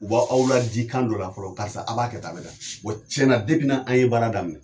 U ba aw ladi kan dɔ la fɔlɔ, karisa a' b'a kɛ tan a bɛ tan wa tiɲɛna n'an ye baara daminɛ